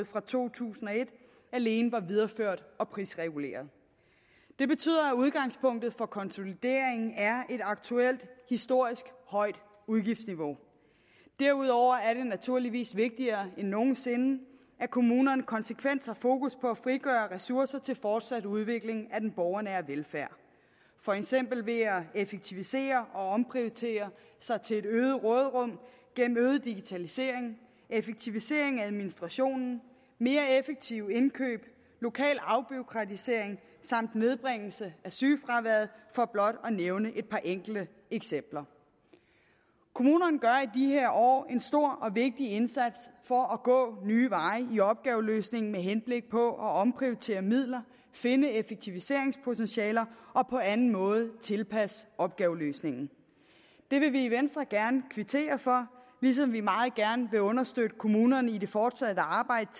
fra to tusind og et alene var videreført og prisreguleret det betyder at udgangspunktet for konsolideringen er et aktuelt historisk højt udgiftsniveau derudover er det naturligvis vigtigere end nogen sinde at kommunerne konsekvent har fokus på at frigøre ressourcer til fortsat udvikling af den borgernære velfærd for eksempel ved at effektivisere og omprioritere sig til et øget råderum gennem øget digitalisering effektivisering af administrationen mere effektive indkøb lokal afbureaukratisering samt nedbringelse af sygefraværet for blot at nævne et par enkelte eksempler kommunerne gør i de her år en stor og vigtig indsats for at gå nye veje i opgaveløsningen med henblik på at omprioritere midler finde effektiviseringspotentialer og på anden måde tilpasse opgaveløsningen det vil vi i venstre gerne kvittere for ligesom vi meget gerne vil understøtte kommunerne i det fortsatte arbejde